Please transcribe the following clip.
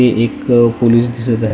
हे एक पोलिस दिसत आहे.